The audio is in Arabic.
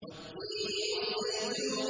وَالتِّينِ وَالزَّيْتُونِ